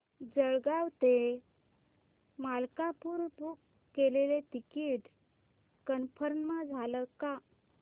जळगाव ते मलकापुर बुक केलेलं ticket confirm झालं का